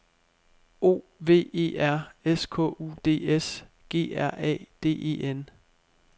O V E R S K U D S G R A D E N